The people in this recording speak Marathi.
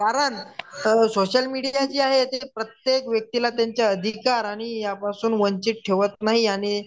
कारण सोशल मीडिया जी आहे प्रत्येक व्यक्तीला त्यांच्या अधिकार आणि यापासून वंचित ठेवत नाही आणि